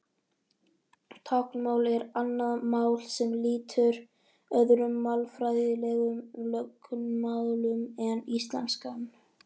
Táknmál er annað mál sem lýtur öðrum málfræðilegum lögmálum en íslenskan.